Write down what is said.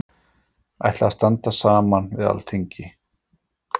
Ætla að standa saman við Alþingi